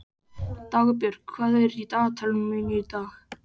Dagbjörg, hvað er í dagatalinu mínu í dag?